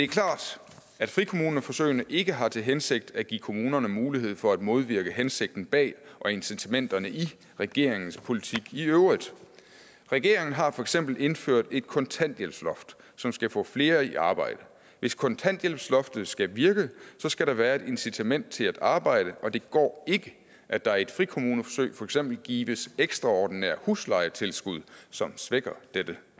klart at frikommuneforsøgene ikke har til hensigt at give kommunerne mulighed for at modvirke hensigten bag og incitamenterne i regeringens politik i øvrigt regeringen har for eksempel indført et kontanthjælpsloft som skal få flere i arbejde hvis kontanthjælpsloftet skal virke skal der være et incitament til at arbejde og det går ikke at der i et frikommuneforsøg for eksempel gives ekstraordinære huslejetilskud som svækker dette